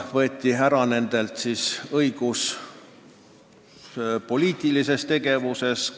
Neilt võeti õigus poliitilises tegevuses osaleda.